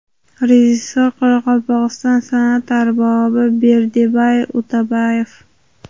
Rejissor – Qoraqalpog‘iston san’at arbobi Berdibay Utebayev.